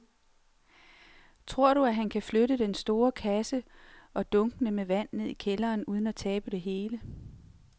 Tror du, at han kan flytte den store kasse og dunkene med vand ned i kælderen uden at tabe det hele?